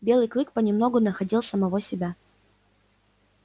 белый клык понемногу находил самого себя